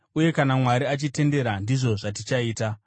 Uye kana Mwari achitendera, ndizvo zvatichaita.